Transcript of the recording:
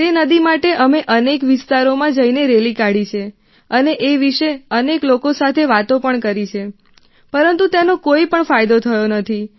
તે નદી માટે અને અનેક વિસ્તારોમાં જઇને રેલી કાઢી છે અને એ વિશે અનેક લોકો સાતે વાતો પણ કરી છે પરંતુ તેનો કોઇપણ ફાયદો થયો નથી